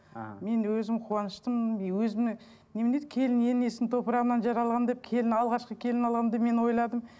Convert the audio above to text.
іхі мен өзім қуаныштымын и өзіме немене еді келін енесінің топырағынан жаралған деп келін алғашқы келін алғанда мен ойладым